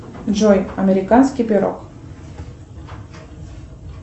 джой американский пирог